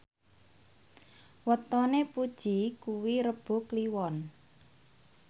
wetone Puji kuwi Rebo Kliwon